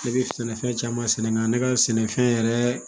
Ne bɛ sɛnɛfɛn caman sɛnɛ nga ne ka sɛnɛfɛn yɛrɛ